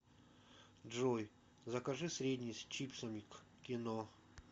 джой закажи средний с чипсами к кино